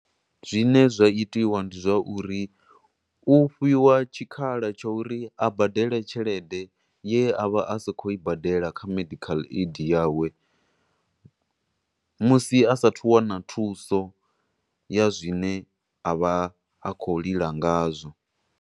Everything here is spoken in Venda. Zwine zwa itiwa ndi zwauri, u fhiwa tshikhala tsha uri a badele tshelede ye a vha a sakhou i badela kha medical aid yawe, musi asathu u wana thuso ya zwine a vha a khou lila nga zwo.